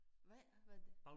Hvad hvad er det?